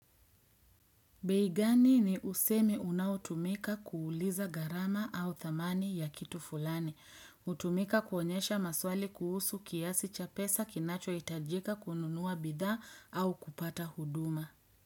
Bei gani ni usemi unaotumika kuuliza garama au thamani ya kitu fulani. Utumika kuonyesha maswali kuhusu kiasi cha pesa kinacho itajika kununua bidhaa au kupata huduma.